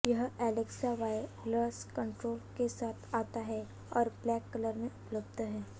यह Alexa voice control के साथ आता है और ब्लैक कलर में उपलब्ध है